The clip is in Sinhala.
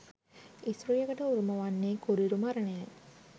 ස්ත්‍රියකට උරුම වන්නේ කුරිරු මරණය යි